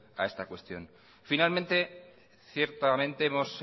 a esta cuestión finalmente ciertamente hemos